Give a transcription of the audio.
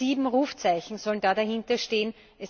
Sieben Rufzeichen sollen da dahinter stehen.